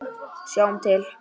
Sjáum til.